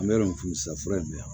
An bɛ yɔrɔ min sisan fura in bɛ yan